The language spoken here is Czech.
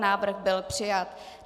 Návrh byl přijat.